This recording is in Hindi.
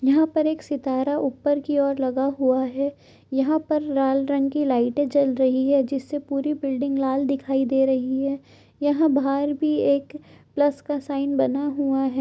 यहाँ पर एक सितारा ऊपर की ओर लगा हुआ है यहाँ पर लाल रंग की लाइटे जल रही है जिससे पूरी बिल्डिंग लाल दिखाई दे रही है यहाँ बाहर भी एक प्लस का साइन बना हुआ है।